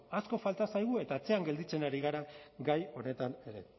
asko falta zaigu eta atzean gelditzen ari gara gai honetan ere